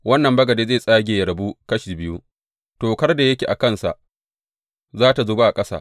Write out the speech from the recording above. Wannan bagade zai tsage yă rabu kashi biyu, tokar da yake a kansa za tă zuba a ƙasa.